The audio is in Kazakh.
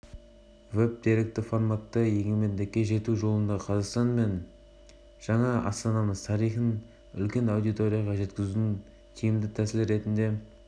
астана әкімдігі қазақстан республикасы тәуелсіздігінің жылдығына орай жасаған веб-деректі жобада егеменді ел болу жолындағы айтулы оқиғаларды